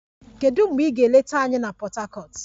Kedu mgbe ị ga-eleta anyị na Port Harcourt?